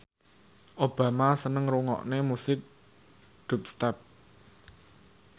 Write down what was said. Obama seneng ngrungokne musik dubstep